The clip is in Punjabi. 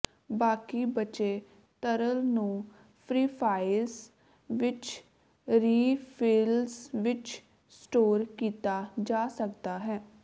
ਬਾਕੀ ਬਚੇ ਤਰਲ ਨੂੰ ਫ੍ਰੀਫ੍ਰਾਈਜ਼ ਵਿੱਚ ਰੀਫਿਲਜ ਵਿੱਚ ਸਟੋਰ ਕੀਤਾ ਜਾ ਸਕਦਾ ਹੈ